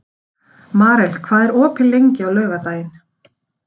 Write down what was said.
Marel, hvað er opið lengi á laugardaginn?